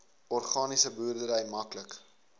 organiese boerdery maklik